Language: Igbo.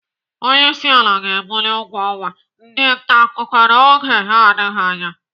Onyeisiala ga-ebuli ụgwọ ọnwa ndị ntaakụkọ n'oge na-adịghị anya.